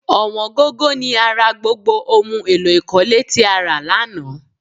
Ọ̀wọ́n gógó ni a ra gbogbo ohun èlò ikọ̀le tí a rà lánàá